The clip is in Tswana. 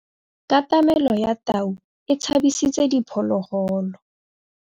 Katamêlô ya tau e tshabisitse diphôlôgôlô.